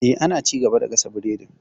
Eh, ana ci gaba da gasa biredin.